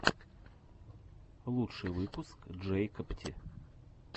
лучший выпуск джэйкобти